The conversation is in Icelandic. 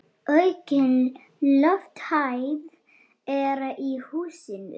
Aukin lofthæð er í húsinu.